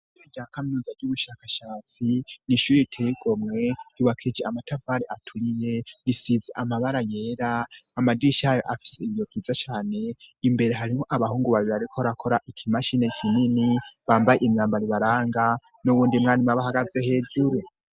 Ro ryakamwiza ry'ubushakashatsi nishuri itegomwe ibakije amatavare aturiye risize amabara yera amadish ayo afise ibiyo vyiza cane imbere harimo abahungu babiri, ariko rakora ikimashine kinini bambaye imyamba ribaranga n'uwundimwani mabahagaze hejuru.